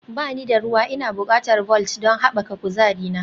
Ba ni da ruwa Ina buƙatar Vault don haɓaka kuzarina